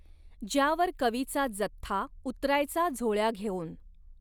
ज्यावर कवीचा जथ्था उतरायचा झोळ्या घेऊन.